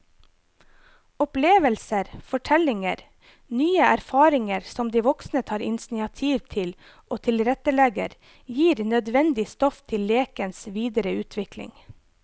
Opplevelser, fortellinger, nye erfaringer som de voksne tar initiativ til og tilrettelegger, gir nødvendig stoff til lekens videre utvikling.